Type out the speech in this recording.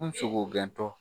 N sogo gɛntɔ